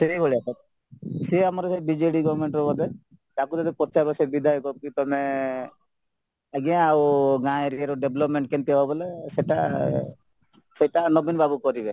ସେଇଭଳିଆ ତ ସିଏ ଆମର ବିଜେଡି government ର ବୋଧେ ତାଙ୍କୁ ଯଦି ପଚାରିବ ସେ ବିଧ୍ୟାୟକ କି ତମେ ଆଜ୍ଞା ଆଉ ଗାଁ area ର development କେମିତି ହବ ବୋଲେ ସେଟା ସେଟା ନବୀନ ବାବୁ କରିବେ